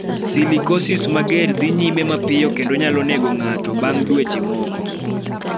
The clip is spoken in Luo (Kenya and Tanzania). Silicosis mager dhi nyime mapiyo kendo nyalo nego ng�ato bang� dweche moko.